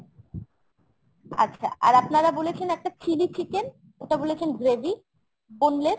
আচ্ছা আর আপনারা বলেছেন একটা chili chicken ওটা বলেছেন gravy boneless ।